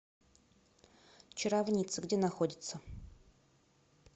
чаровница где находится